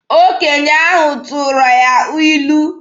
Okenye ahụ tụrụ ya ilu.